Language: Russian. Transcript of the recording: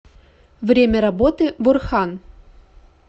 время работы бурхан